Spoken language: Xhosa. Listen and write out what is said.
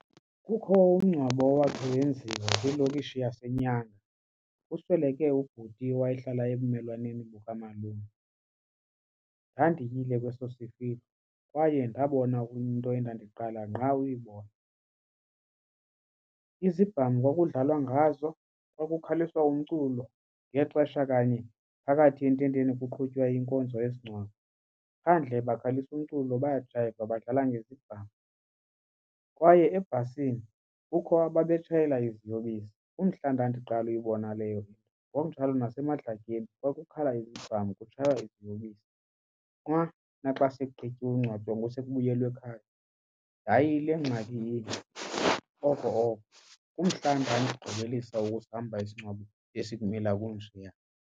Kukho umngcwabo owakho wenziwa kwilokishi yaseNyanga kusweleke ubhuti owayehlala ebumelwaneni bukamalume. Ndandiyile kweso sifihloo kwaye ndabona into endandiqala ngqa ukuyibona. Izibhamu kwakudlalwa ngazo kwakukhuliswa umculo ngexesha kanye phakathi ententeni kuqhutywa inkonzo yesingcwabo. Phandle bakhalisa umculo bayajayiva badlala ngezibhamu kwaye ebhasini kukho ababetshayela iziyobisi, kumhla ndandiqala uyibona leyo into. Ngokunjalo nasemadlakeni kwakukhala izibhamu kutshaywa iziyobisi. Xa mna xa sekugqityiwe ungcwatywa ngoku sekubuyelwe ekhaya yayile ngxaki inye oko oko. Kumhla ndandigqibelisa ukusihamba isingcwabo esibumila obunjeya.